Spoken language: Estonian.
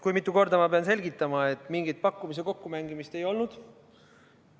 Kui mitu korda ma pean selgitama, et mingit pakkumise kokkumängimist ei olnud.